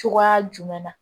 Cogoya jumɛn na